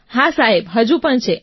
હા જી સાહેબ હા જી